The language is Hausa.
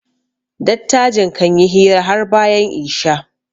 dattajin kan yi hira har bayan Isha